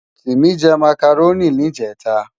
Timi jè Mákáróni nijètá